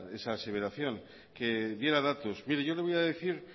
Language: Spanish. esa aseveración que diera datos mire yo le voy a decir